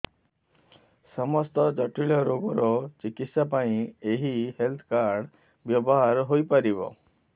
ସମସ୍ତ ଜଟିଳ ରୋଗର ଚିକିତ୍ସା ପାଇଁ ଏହି ହେଲ୍ଥ କାର୍ଡ ବ୍ୟବହାର ହୋଇପାରିବ